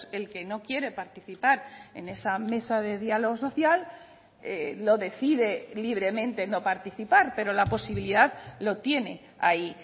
el que no quiere participar en esa mesa de diálogo social lo decide libremente no participar pero la posibilidad lo tiene ahí